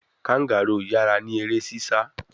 Kangaroo yara ni ere sisa